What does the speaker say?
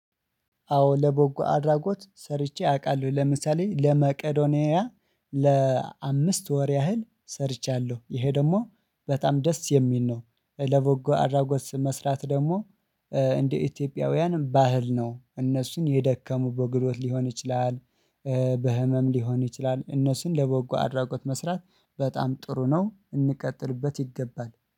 አዎ ለቦጎ አድራጎት ሰርቼ አውቃለሁ ለምሳሌ ለመቄዶንያ ለአምስት ወር ያህል ሰርቻለሁ ይሄ ደግሞ በጣም ደስ የሚል ነው። ለበጎ አራጎት መስራት ደግሞ እንደ ኢትዮጵያውያንም ባህል ነው እነሱን የደከሙ በጉልበት ሊሆን ይችላል። በህመም ሊሆን ይችላል እነሱን ለበጎ አድራጎት መስራት በጣም ጥሩ ነው። እንቀጥልበት ይገባል